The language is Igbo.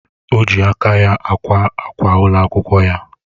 Oji aka ya akwa akwa ụlọ akwụkwọ ya